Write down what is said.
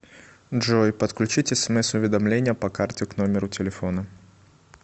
джой подключить смс уведомления по карте к номеру телефона